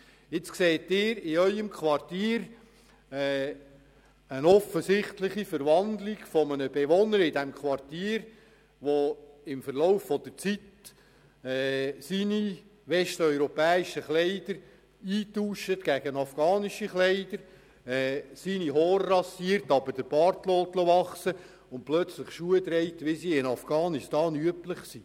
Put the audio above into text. Stellen Sie sich vor, Sie beobachten in Ihrem Quartier eine offensichtliche Verwandlung eines Bewohners, der im Laufe der Zeit seine westeuropäischen Kleider gegen afghanische Kleider eintauscht, seine Haare rasiert, aber den Bart stehen lässt, und plötzlich Schuhe trägt, wie sie in Afghanistan üblich sind.